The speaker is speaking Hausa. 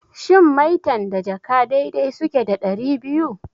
Shin maitan da jaka dai dai suke da ɗari biyu?